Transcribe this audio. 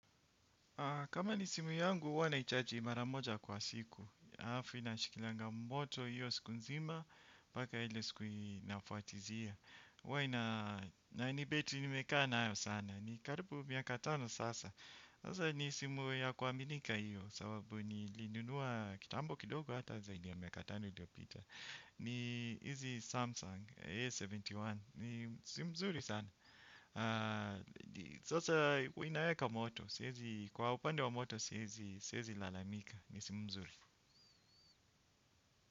Kama ni simu yangu huwa na ichaji mara moja kwa siku. Alafu inashikilianga moto hiyo siku nzima paka ile siku inafuatilia huwa ina ni betri nimekaa nayo sana karibu miaka tano sasa. Sasa ni simu ya kuaminika hiyo sababu nilinunua kitambo kidogo hata zaidi ya miaka tano iliyopita. Ni hizi Samsung A71. Ni simu nzuri sana. Sasa inaweka moto. Kwa upande wa moto siezi lalamika. Ni simu mzuri.